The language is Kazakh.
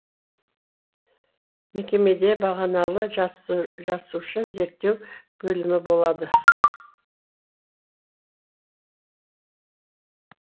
мекемеде бағаналы жасуша зерттеу бөлімі болады